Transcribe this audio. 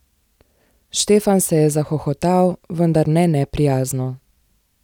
Štefan se je zahohotal, vendar ne neprijazno.